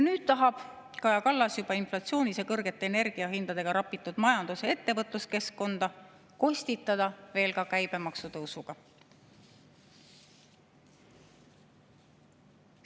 Nüüd tahab Kaja Kallas juba inflatsioonis ja kõrgete energiahindadega rapitud majandus‑ ja ettevõtluskeskkonda kostitada veel käibemaksu tõusuga.